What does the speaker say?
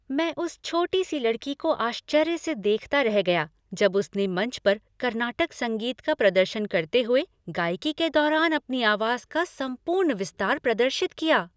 मैं उस छोटी सी लड़की को आश्चर्य से देखता रह गया जब उसने मंच पर कर्नाटक संगीत का प्रदर्शन करते हुए गायकी के दौरान अपनी आवाज़ का संपूर्ण विस्तार प्रदर्शित किया।